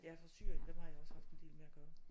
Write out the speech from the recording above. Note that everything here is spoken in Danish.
Ja fra Syrien dem har jeg også haft en del med at gøre